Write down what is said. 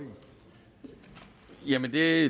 det er